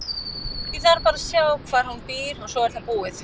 Ég þarf bara að sjá hvar hún býr og svo er það búið.